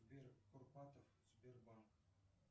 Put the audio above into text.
сбер курпатов сбербанк